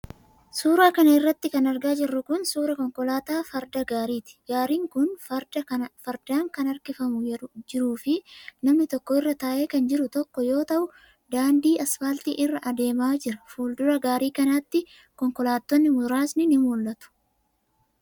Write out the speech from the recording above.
Suura kana irratti kan argaa jirru kun, suura konkolaataa farda gaariti. Gaariin kun fardaan kan harkifamaa jiruu fi namni tokko irra taa'ee kan jiru tokko yoo ta'u, daandii asfaaltii irra adeemaa jira. Fuuldura gaarii kanaatti, konkolaattonni muraasni ni mul'atu.